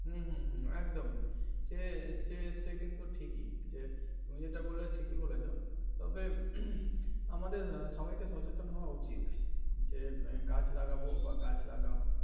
হম হম হম একদমই সে সে কিন্তু ঠিকই তুমি যেটা বলে ঠিক বলেছো তবে আমাদের সবাই কে সচেতন হওয়া উচিত যে গাছ লাগাবো বা গাছ লাগাও.